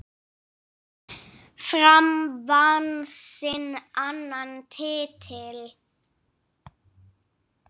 Fram vann sinn annan titil.